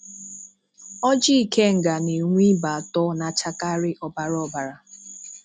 Ọjị ikenga na-enwe ibe atọ, na-achakarị ọbara ọbara